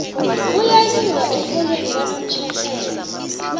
kuyayiwa erholweni kwanomtjerhela